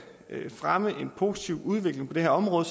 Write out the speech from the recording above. fremme en positiv udvikling på det her område